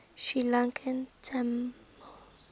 sri lankan tamil